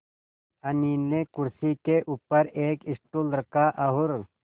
अनिल ने कुर्सी के ऊपर एक स्टूल रखा और